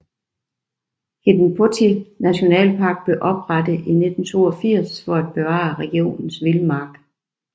Hiidenportti Nationalpark blev oprettet i 1982 for at bevare regionens vildmark